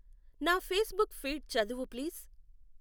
నా Facebook feed చదువు please.